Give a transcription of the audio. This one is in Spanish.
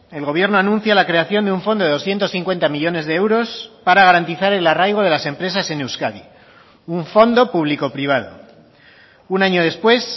el gobierno anuncia la creación de un fondo de doscientos cincuenta millónes de euros para garantizar el arraigo de las empresas en euskadi un fondo público privado un año después